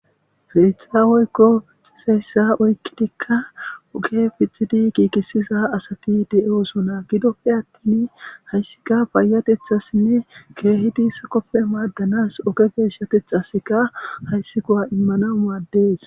Peexaaweykko pixiseyssa oykkidikka oge pixidi kiikissiza asati de7eosona gidoppe attin hayssika baayatethassinne keehidi sakoppe maaddanas oge geeshshatethasika hayssi kowa immana muaddees.